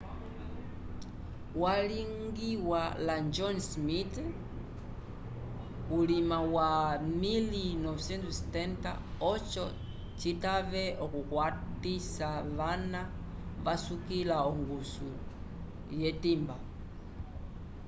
yalingiwa la john smith vulima wa 1970 oco citave okukwatisa vana vasukila ongusu lyetimba